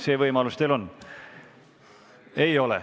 See võimalus teil on.